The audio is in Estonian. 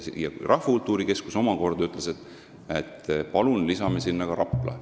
Ja Rahvakultuuri Keskus omakorda ütles, et palun lisame sinna Rapla.